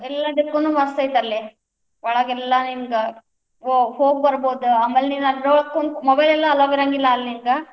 ಎಲ್ಲಾದಕ್ಕನೂ ಮಸ್ತ್ ಐತಿ ಅಲ್ಲೇ. ಒಳಗೆಲ್ಲಾ ಹಿಂಗ್ ಹೋ~ ಹೋಗಿಬರ್ಬೋದ ಆಮೇಲ್ ನಿನ್ ಅದ್ರೊಳಗ ಕುಂತ್ mobile ಲೆಲ್ಲ allow ಇರಂಗಿಲ್ಲಾ ಅಲ್ಲೇ ನಿಂಗ.